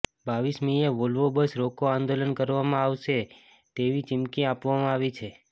રરમીએ Volvo bus રોકો આંદોલન કરવામાં આવશે તેવી ચીમકી આપવામાં આવી છે